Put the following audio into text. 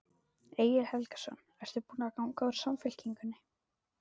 Egil Helgason: Ertu búin að ganga úr Samfylkingunni?